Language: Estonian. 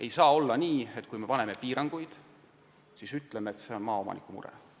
Ei saa olla nii, et me paneme peale piirangud ja siis ütleme, et see on maaomanike mure.